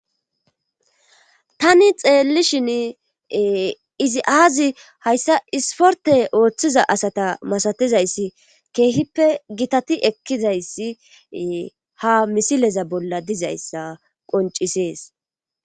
tani xeellishin izi aazi hayssa isporte ooththiza asata masatizayssi keehippe gitati ekkizayssi ha misileza bolla dizayssa qoncisees